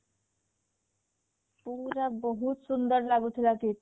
ପୁରା ବହୁତ ସୁନ୍ଦର ଲାଗୁଥିଲା ସେଇଟା